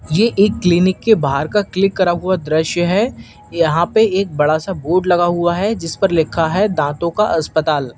ये एक क्लीनिक के बाहर का क्लिक करा हुआ दृश्य है यहां पे एक बड़ा सा बोर्ड लगा हुआ है जिस पर लिखा है दांतों का अस्पताल।